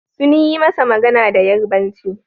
Sun yi masa magana da Yarbanci.